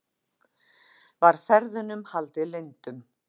Var ferðunum haldið leyndum